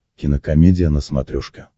кинокомедия на смотрешке